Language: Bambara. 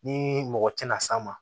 Ni mɔgɔ tɛna s'a ma